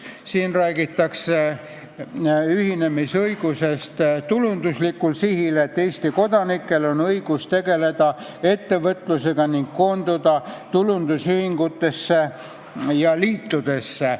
Siin räägitakse ühinemisõigusest tulundusliku sihiga: Eesti kodanikel on õigus tegeleda ettevõtlusega ning koonduda tulundusühingutesse ja -liitudesse.